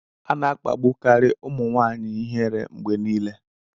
Ana akpagbukari ụmụ nwaanyị ihere mgbe niile